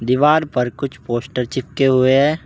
दीवार पर कुछ पोस्टर चिपके हुए हैं।